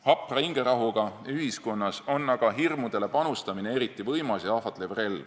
Hapra hingerahuga ühiskonnas on aga hirmudele panustamine eriti võimas ja ahvatlev relv.